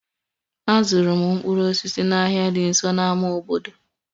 Azụrụ m mkpụrụ osisi n'ahịa dị nso na ámá obodo